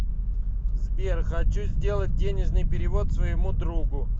сбер хочу сделать денежный перевод своему другу